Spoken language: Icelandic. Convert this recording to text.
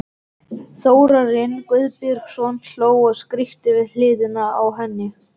Þórarinn Guðbjörnsson hló og skríkti við hliðina á henni.